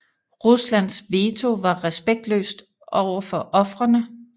Ruslands veto var respektløst overfor ofrene